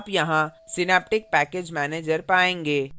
आप यहाँ synaptic package manager पायेंगे